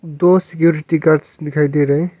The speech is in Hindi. दो सिक्योरिटी गार्ड्स दिखाई दे रहे हैं।